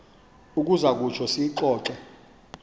uza kutsho siyixoxe